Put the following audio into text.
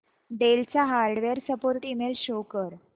del चा hardware support email show कर